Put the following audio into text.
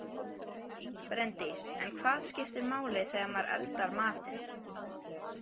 Bryndís: En hvað skiptir máli þegar maður eldar matinn?